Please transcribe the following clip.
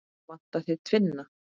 Vantar þig tvinna?